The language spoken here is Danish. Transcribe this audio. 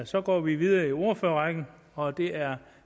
så går vi videre i ordførerrækken og det er